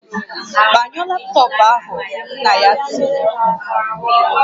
"Gbanyụọ laptọọpụ ahụ!" Nna ya tiri mkpu "